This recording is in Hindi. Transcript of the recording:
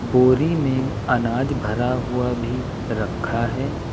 बोरी में अनाज भरा हुआ भी रखा है।